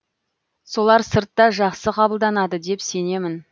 солар сыртта жақсы қабылданады деп сенемін